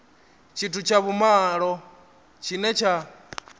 tshithu tsha vhumalo tshine tsha